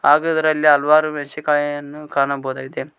ಹಾಗು ಇದರಲ್ಲಿ ಹಲವಾರು ಮೇಣಸಿಕಾಯನ್ನು ಕಾಣಬೋದಾಗಿದೆ.